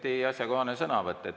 Igati asjakohane sõnavõtt.